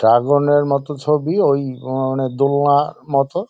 Dragon -এর মতো ছবি ওই মানে দোলনার মতো।